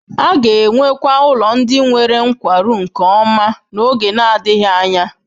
A ga-enwekwa ụlọ ndị nwere nkwarụ nke ọma n'oge na-adịghị anya.